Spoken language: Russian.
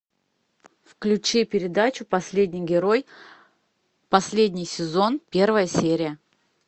включи передачу последний герой последний сезон первая серия